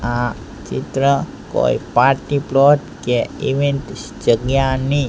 આ ચિત્ર કોઈ પાર્ટી પ્લોટ કે ઇવેન્ટ જગ્યાની--